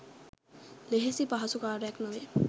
ලෙහෙසි පහසු කාර්යයක් නොවේ.